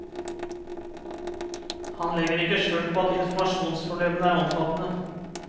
Han legger ikke skjul på at informasjonsproblemene er omfattende.